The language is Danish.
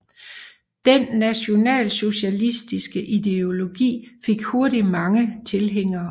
Den nationalsocialistiske ideologi fik hurtigt mange tilhængere